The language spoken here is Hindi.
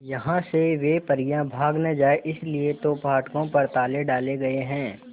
यहां से वे परियां भाग न जाएं इसलिए तो फाटकों पर ताले डाले गए हैं